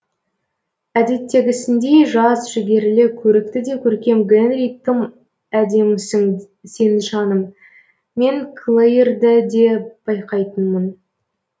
әдеттегісіндей жас жігерлі көрікті де көркем гэнри тым әдемісің сен жаным мен клэйрді де байқайтынмын